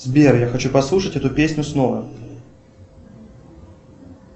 сбер я хочу послушать эту песню снова